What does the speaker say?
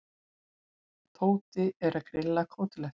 Tóti er að grilla kótilettur.